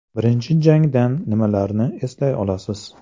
Birinchi jangdan nimalarni eslay olasiz?